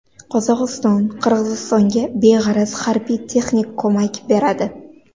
Qozog‘iston Qirg‘izistonga beg‘araz harbiy-texnik ko‘mak beradi.